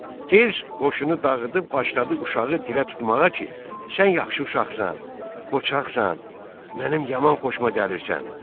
Tez qoşunu dağıdıb başladı uşağı dilə tutmağa ki, sən yaxşı uşaqsan, qocaqsan, mənim yaman xoşuma gəlirsən.